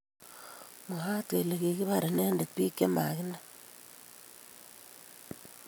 Mwaat kele kibar inendet biik che maginai